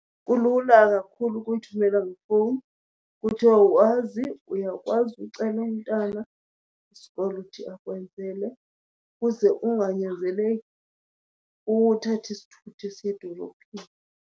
Kulula kakhulu ukuyithumela ngefowuni. Ukuthi awukwazi, uyakwazi ucela umntana wesikolo ukuthi akwenzele kuze unganyanzeleki uthathe isithuthi esiya edolophini.